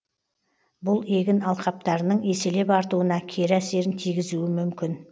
бұл егін алқаптарының еселеп артуына кері әсерін тигізуі мүмкін